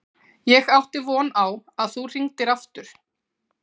Ég átti von á að þú hringdir aftur.